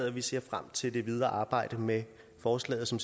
og vi ser frem til det videre arbejde med forslaget som